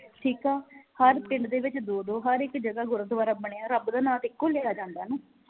ਠੀਕ ਆ ਹਰ ਪਿੰਡ ਦੇ ਵਿਚ ਦੋ ਦੋ ਹਰ ਇਕ ਜਗਾ ਗੁਰਦੁਆਰਾ ਬਣਿਆ ਰੱਬ ਦਾ ਨਾਂ ਤੇ ਇਕੋ ਲਿਆ ਜਾਂਦਾ ਨਾ